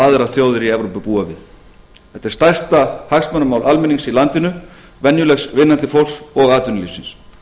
aðrar þjóðir í evrópu búa við þetta er stærsta hagsmunamál almennings í landinu venjulegs vinnandi fólks og atvinnulífsins